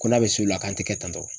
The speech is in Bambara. Ko n'a be s'o la k'an te kɛ tantɔ.